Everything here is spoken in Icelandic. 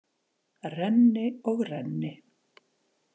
Renni og renni.